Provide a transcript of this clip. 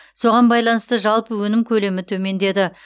соған байланысты жалпы өнім көлемі төмендеді